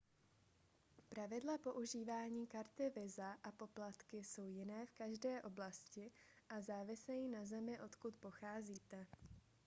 pravidla používání karty visa a poplatky jsou jiné v každé oblasti a závisejí na zemi odkud pocházíte